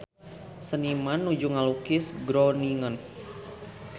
Seniman nuju ngalukis Groningen